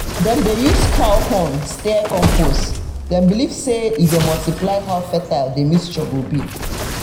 dem dey use cow horn stir compost dem believe say e dey multiply how fertile the mixture go be.